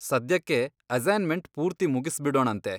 ಸದ್ಯಕ್ಕೆ, ಅಸೈನ್ಮೆಂಟ್ ಪೂರ್ತಿ ಮುಗಿಸ್ಬಿಡೋಣಂತೆ.